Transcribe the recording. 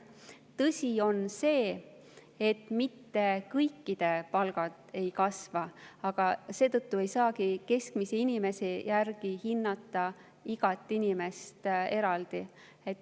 Tõsi on see, et mitte kõikide palk ei ole kasvanud, aga seetõttu ei saagi keskmise inimese järgi hinnata igat inimest eraldi.